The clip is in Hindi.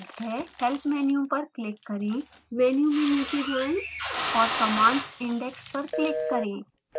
help menu पर क्लिक करें मेनू में नीचे जाएँ और commands index पर क्लिक करें